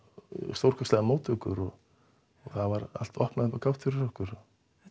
stórkostlegar móttökur og allt opnað upp á gátt fyrir okkur